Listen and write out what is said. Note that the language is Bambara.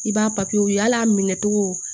I b'a ye hali a minɛ cogo